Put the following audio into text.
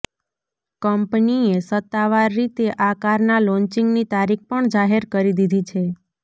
કંપનીએ સત્તાવાર રીતે આ કારના લોન્ચિંગની તારીખ પણ જાહેર કરી દીધી છે